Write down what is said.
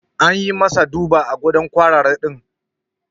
An yi masa duba a gadon kwarare din.